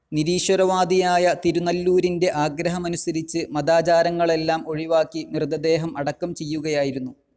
നിരീശ്വരവാദിയായ തിരുനല്ലൂരിന്റെ ആഗ്രഹമനുസരിച്ച് മതാചാരങ്ങളെല്ലാം ഒഴിവാക്കി മൃതദേഹം അടക്കം ചെയ്യുകയായിരുന്നു.